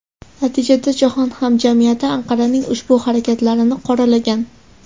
Natijada jahon hamjamiyati Anqaraning ushbu harakatlarini qoralagan.